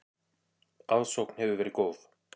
Aðsókn hefur verið góð.